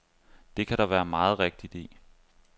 Det kan der være meget rigtigt i.